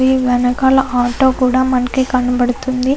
దీని వెనకాల ఆటో కూడా మనకి కనబడుతుంది.